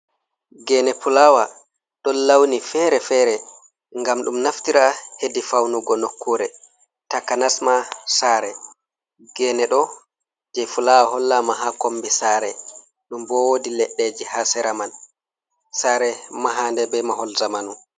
Gene fulawa ɗon launi fere-fere ngam ɗum naftira hedi faunugo nokkure takanasma sare, gene ɗo je fulawa hollama ha kombi sare ɗum bowodi leddeji ha sera man sare mahande be mahol zamanu.